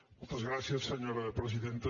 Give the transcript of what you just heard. moltes gràcies senyora presidenta